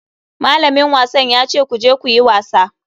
Malamin wasan ya ce ku je ku yi wasa.